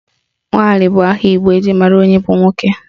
Nwali bụ aha Igbo eji mara onye bụ nwoke